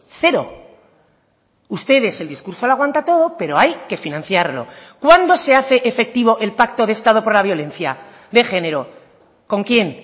cero ustedes el discurso lo aguanta todo pero hay que financiarlo cuándo se hace efectivo el pacto de estado por la violencia de género con quién